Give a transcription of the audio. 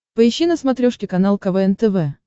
поищи на смотрешке канал квн тв